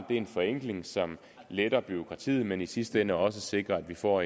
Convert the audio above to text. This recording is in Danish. det er en forenkling som letter bureaukratiet men som i sidste ende også sikrer at vi får